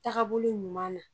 Takabolo ɲuman na